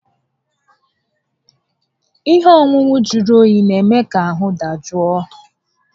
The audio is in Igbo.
Ihe ọṅụṅụ jụrụ oyi n'eme ka ahụ dajụ a